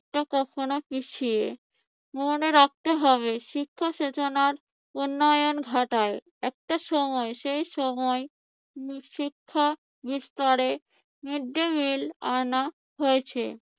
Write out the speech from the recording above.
মনে রাখতে হবে শিক্ষা চেতনার উন্নয়ন ঘটায়। একটা সময় সে সময় শিক্ষা বিস্তারে মৃদ্দিমিল আনা হয়েছে